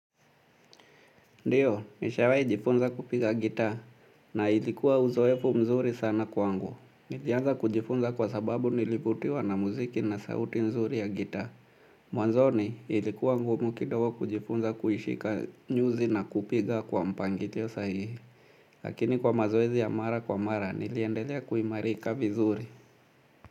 Ndiyo, nishawahi jifunza kupiga gitaa na ilikuwa uzoefu mzuri sana kwangu. Niliaanza kujifunza kwa sababu nilivutiwa na muziki na sauti mzuri ya gitaa. Mwanzoni, ilikuwa ngumu kidogo kujifunza kuishika nyuzi na kupiga kwa mpangilio sahihi. Lakini kwa mazoezi ya mara kwa mara, niliendelea kuimarika vizuri.